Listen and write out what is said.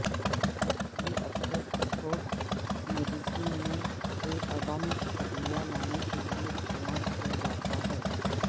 یہ اکثر sports medicine میں کالعدم ادویہ لانے کے لئے استعمال کیا جاتا ہے